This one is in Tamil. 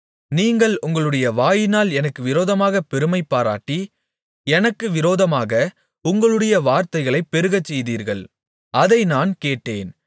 நீங்கள் உங்களுடைய வாயினால் எனக்கு விரோதமாகப் பெருமைபாராட்டி எனக்கு விரோதமாக உங்களுடைய வார்த்தைகளைப் பெருகச்செய்தீர்கள் அதை நான் கேட்டேன்